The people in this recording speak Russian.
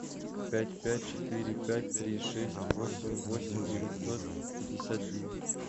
пять пять четыре пять три шесть восемь восемь девятьсот пятьдесят девять